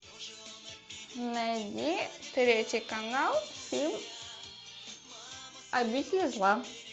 найди третий канал фильм обитель зла